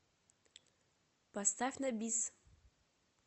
поставь на бис